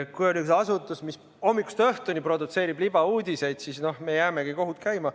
Kui on üks asutus, mis hommikust õhtuni produtseerib libauudiseid, siis me jäämegi kohut käima.